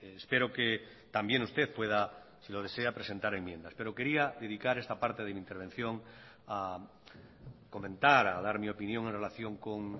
espero que también usted pueda si lo desea presentar enmiendas pero quería dedicar esta parte de mi intervención a comentar a dar mi opinión en relación con